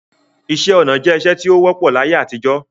Ìṣẹ̀ onà jẹ̀ ìṣẹ̀ tí o wọ̀pọ̀ l'ayé àtijọ